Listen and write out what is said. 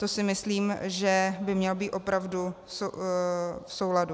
To si myslím, že by mělo být opravdu v souladu.